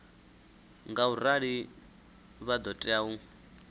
ngaurali vha ḓo tea u